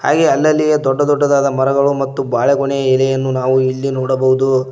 ಹಾಗೆ ಅಲ್ಲಲ್ಲಿಯೆ ದೊಡ್ಡ ದೊಡ್ಡದಾದ ಮರಗಳು ಮತ್ತು ಬಾಳೆಗೊನೆ ಎಲೆಯನ್ನು ನಾವು ಇಲ್ಲಿ ನೋಡಬಹುದು.